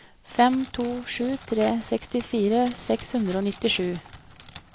fem to sju tre sekstifire seks hundre og nittisju